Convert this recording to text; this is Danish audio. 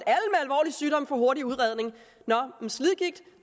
sygdom får en hurtig udredning men slidgigt